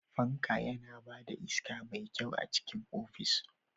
Fanka yana ba da iska mai kyau a cikin ofis.